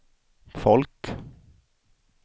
folk